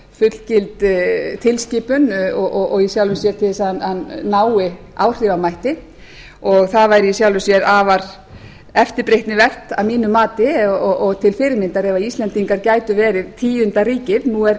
fullgild tilskipun og í hjálp sér til að hann nái áhrifamætti og það væri í sjálfu sér afar eftirbreytnivert að mínu mati og til fyrirmyndar ef íslendingar gætu verið tíunda ríkið nú